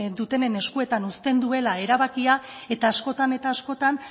dutenen eskuetan uzten duela erabakia eta askotan eta askotan